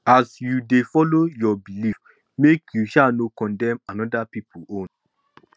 as yu dey follow yur belief make yu no sha condemn oda pipol own